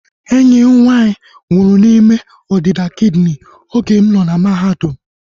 Enyi m nwaanyị nwụrụ n'ime ọdịda kidini oge m nọ na mahadum